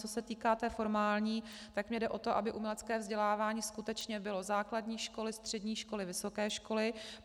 Co se týká té formální, tak mně jde o to, aby umělecké vzdělávání skutečně bylo: základní školy, střední školy, vysoké školy.